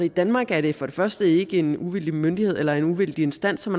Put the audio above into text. i danmark er det for det første ikke en uvildig myndighed eller uvildig instans som